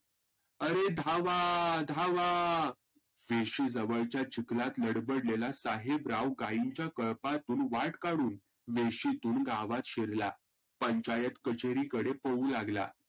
आरे धावा! धावा! वेशी जवळच्या चिखलात लडबडलेला साहेबराव गाईंच्या कळपातून वाट काढून वेशितून गावात शिरला. पंचायत कचेरीकडे पळू लागला.